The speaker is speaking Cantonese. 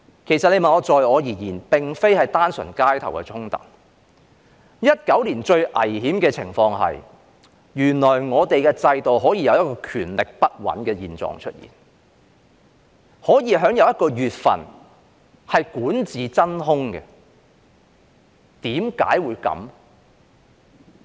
其實在我而言，那並非是單純的街頭衝突 ，2019 年最危險的情況是，原來在我們的制度下，可以有權力不穩的狀況出現，可以有一個月份是管治真空。